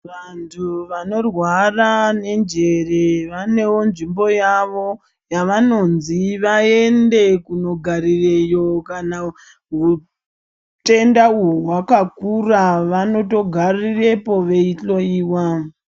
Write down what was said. Antu anorwara nenjere vanevo nzvimbo yavo yavanonzi vaende kunogarireyo, kana utenda uhu hwakakura vanotogarirepo veihloiwa.